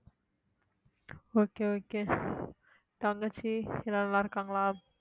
okay okay தங்கச்சி எல்லாம் நல்லா இருக்காங்களா